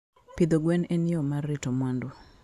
Pidho gwen en yo mar rito mwandu.